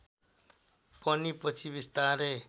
पनि पछि बिस्तारै